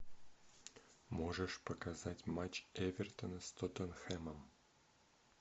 можешь показать матч эвертона с тоттенхэмом